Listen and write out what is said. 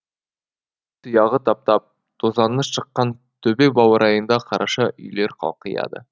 тұяғы таптап тозаңы шыққан төбе баурайында қараша үйлер қалқияды